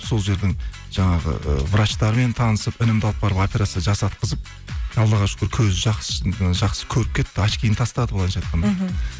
сол жердің жаңағы ы врачтарымен танысып інімді алып барып операция жасатқызып аллаға шүкір көзі ы жақсы көріп кетті очкиін тастады былайынша айтқанда мхм